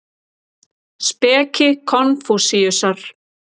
Speki Konfúsíusar.